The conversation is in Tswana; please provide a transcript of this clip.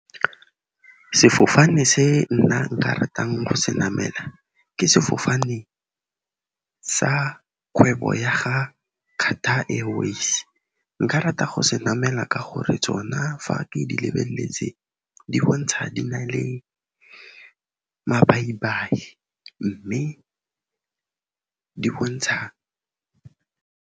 Sefofane se nna nka ratang go se namela, ke sefofane sa kgwebo ya ga Qatar Airways. Nka rata go se namela ka gore tsona fa ke di lebeletse, di bontsha di na le mabai-bai, mme di bontsha.